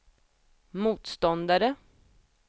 motståndare